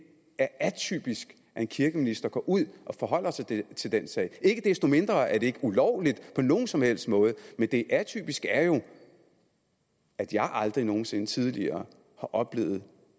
er atypisk at en kirkeminister går ud og forholder sig til til den sag ikke desto mindre er det ikke ulovligt på nogen som helst måde men det atypiske er jo at jeg aldrig nogen sinde tidligere har oplevet